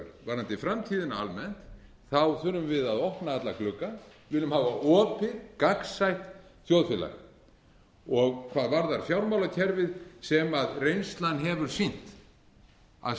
varðandi framtíðina almennt þurfum við að opna alla glugga við viljum hafa opið gagnsætt þjóðfélag hvað varðar fjármálakerfið hefur reynslan sýnt að